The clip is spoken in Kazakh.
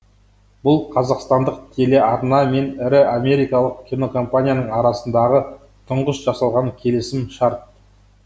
бұл қазақстандық телеарна мен ірі америкалық кинокомпанияның арасындағы тұңғыш жасалған келісім шарт